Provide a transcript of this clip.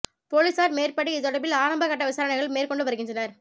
பொலிஸார் மேற்படி இது தொடர்பில் ஆரம்ப கட்ட விசாரணைகள் மேற்கொண்டு வருகின்றனர்